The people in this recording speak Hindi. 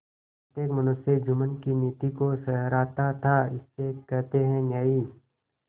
प्रत्येक मनुष्य जुम्मन की नीति को सराहता थाइसे कहते हैं न्याय